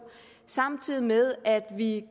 samtidig med at vi